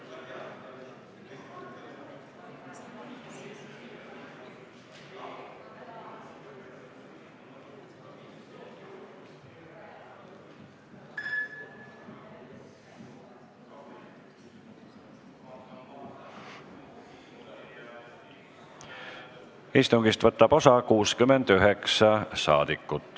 Kohaloleku kontroll Istungist võtab osa 69 rahvasaadikut.